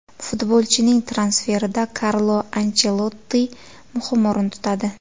Futbolchining transferida Karlo Anchelotti muhim o‘rin tutadi.